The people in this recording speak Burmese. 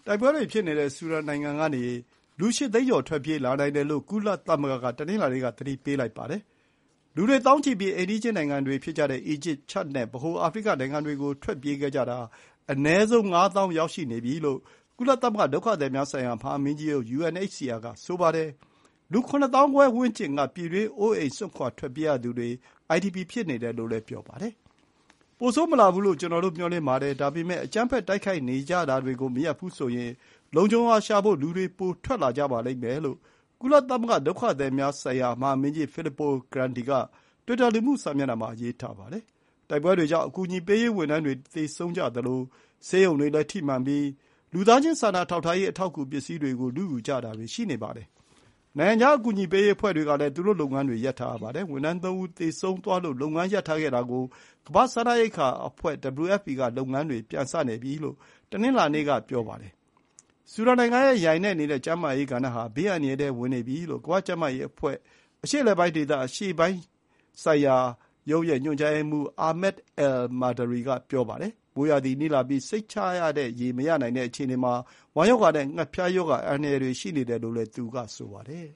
တိုက်ပွဲတွေဖြစ်နေတဲ့ဆူဒန်နိုင်ငံကနေ လူ ၈၀၀,၀၀၀ ကျော် ထွက်ပြေးလာနိုင်တယ်လို့ ကုလသမဂ္ဂက တနင်္လာနေ့က သတိပေးလိုက်ပါတယ်။ လူတွေ သောင်းချီပြီး အိမ်နီးချင်းနိုင်ငံတွေဖြစ်ကြတဲ့ အီဂျစ်၊ ချဒ်နဲ့ ဗဟိုအာဖရိကနိုင်ငံတွေကို ထွက်ပြေးခဲ့ကြတာ အနည်းဆုံး ၅ သောင်းရောက်နေပြီလို့ ကုလသမဂ္ဂ ဒုက္ခသည်များဆိုင်ရာ မဟာမင်းကြီးရုံး UNHCR က ဆိုပါတယ်။ လူ ၇၅,၀၀၀ ဝန်းကျင်က ပြည်တွင်းအိုးအိမ်စွန့်ခွါထွက်ပြေးရသူတွေ (IDP) ဖြစ်နေတယ်လို့လည်း ပြောပါတယ်။ "ပိုဆိုးမလာဘူး လို့ ကျနော်တို့ မျှော်လင့်ပါတယ်။ ဒါပေမဲ့ အကြမ်းဖက်တိုက်ခိုက်နေကြတာတွေ မရပ်ဘူးဆိုရင် လုံခြုံရာရှာဖို့ လူတွေ ပိုထွက်လာကြပါလိမ့်မယ်။" လို့ ကုလသမဂ္ဂ ဒုက္ခသည်များဆိုင်ရာမဟာမင်းကြီး Filippo Grandi က တွစ်တာ လူမှုစာမျက်နှာမှာ ရေးပါတယ်။ တိုက်ပွဲတွေကြောင့် အကူအညီပေးရေးဝန်ထမ်းတွေ သေဆုံးကြသလို ဆေးရုံတွေလည်း ထိမှန်ပြီး လူသားချင်းစာနာထောက်ထားရေး အထောက်အကူ ပစ္စည်းတွေကို လုယူကြတာတွေ ရှိနေပါတယ်။ နိုင်ငံခြား အကူအညီပေးရေးအဖွဲ့တွေကလည်း သူတို့လုပ်ငန်းတွေ ရပ်ထားရပါတယ်။ ဝန်ထမ်း ၃ ဦး သေဆုံးသွားလို့ လုပ်ငန်းရပ်ထားခဲ့တာကို ကမ္ဘာ့စားနပ်ရိက္ခာအဖွဲ့ WFP က လုပ်ငန်းတွေ ပြန်စနေပြီလို့ တနင်္လာနေ့က ပြောပါတယ်။ ဆူဒန်နိုင်ငံရဲ့ယိုင်နဲ့နေတဲ့ကျန်းမာရေးကဏ္ဍဟာ ဘေးအန္တရာယ်ထဲဝင်နေပြီလို့ ကမ္ဘာကျန်းမာရေးအဖွဲ့ အရှေ့အလယ်ပိုင်းဒေသ အရှေ့ပိုင်းရုံး ညွှန်ကြားရေးမှူး Ahmed al-Mandhari က ပြောပါတယ်။ မိုးရာသီနီးလာပြီး စိတ်ချရတဲ့ရေ မရနိုင်တဲ့အခြေအနေမှာ ဝမ်းရောဂါနဲ့ ငှက်ဖျားရောဂါအန္တရာယ်တွေ ရှိနေတယ်လို့ သူကဆိုပါတယ်